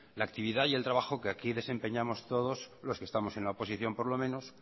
la actividad y el trabajo que aquí desempeñamos todos los que estamos en la oposición por lo menos